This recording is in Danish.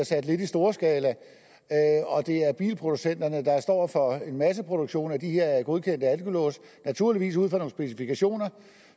sat lidt i storskala og det er bilproducenterne der står for en masseproduktion af de her godkendte alkolåse naturligvis ud fra nogle specifikationer